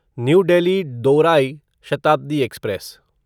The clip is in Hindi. न्यू डेल्ही दौराई शताब्दी एक्सप्रेस